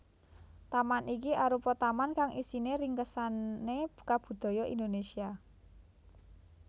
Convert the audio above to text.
Taman iki arupa taman kang isine ringkesane kabudaya Indonésia